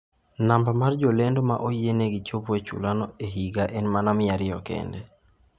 Namba mar jolendo ma oyienegi chopo e chulano e higa en mana 200 kende.